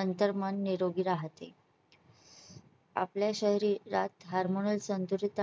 अंतर्मन निरोगी राहते. आपल्या शरीरात hormonal संतुलित